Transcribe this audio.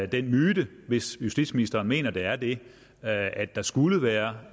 den myte hvis justitsministeren mener at det er det at der skulle være